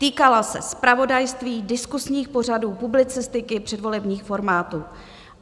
Týkala se zpravodajství, diskusních pořadů, publicistiky, předvolebních formátů.